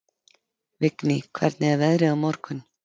Vigný, hvernig er veðrið á morgun?